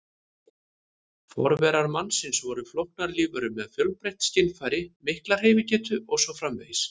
Forverar mannsins voru flóknar lífverur með fjölbreytt skynfæri, mikla hreyfigetu og svo framvegis.